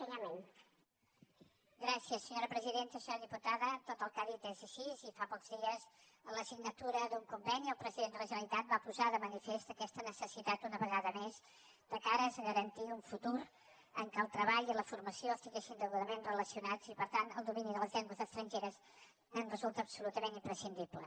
senyora diputada tot el que ha dit és així i fa pocs dies en la signatura d’un conveni el president de la generalitat va posar de manifest aquesta necessitat una vegada més de cares a garantir un futur en què el treball i la formació estiguessin degudament relacionats i per tant el domini de les llengües estrangeres resulta absolutament imprescindible